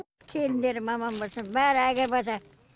келіндерім аман болсын бәрі әкеватыр